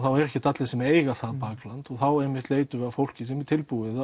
eru ekkert allir sem eiga það bakland og þá einmitt leitum við að fólki sem er tilbúið